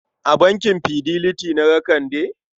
A bankin Fidelity na ga Kande?